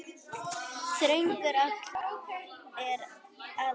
Þröngur áll er aðeins þíður.